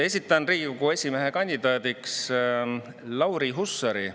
Esitan Riigikogu esimehe kandidaadiks Lauri Hussari.